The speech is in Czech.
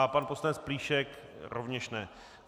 A pan poslanec Plíšek rovněž ne.